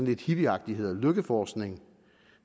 hippieagtigt hedder lykkeforskning